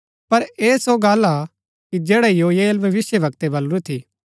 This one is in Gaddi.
पर ऐह सो गल्ल हा कि जैडा योएल भविष्‍यवक्तै बलुरी थी